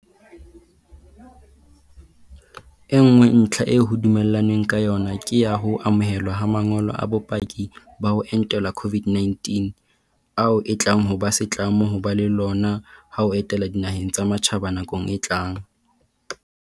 E nngwe ntlha eo ho dumellanweng ka yona ke ya ho amohelwa ha ma ngolo a bopaki ba ho entelwa COVID-19 - ao e tlang ho ba setlamo ho ba le lona ha o etela dinaheng tsa matjhaba nakong e tlang.